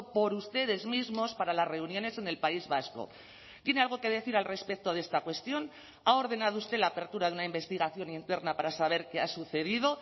por ustedes mismos para las reuniones en el país vasco tiene algo que decir al respecto de esta cuestión ha ordenado usted la apertura de una investigación interna para saber qué ha sucedido